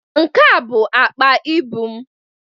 Nke a bụ akpa ịbụ m.